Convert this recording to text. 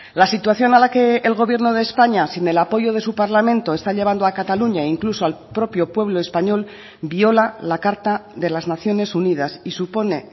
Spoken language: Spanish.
la situación a la que el gobierno de españa sin el apoyo de su parlamento está llevando a cataluña incluso al propio pueblo español viola la carta de las naciones unidas y supone